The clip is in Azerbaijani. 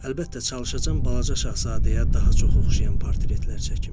Əlbəttə, çalışacam balaca şahzadəyə daha çox oxşayan portretlər çəkim.